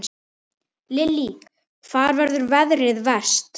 Lillý: Hvar verður veðrið verst?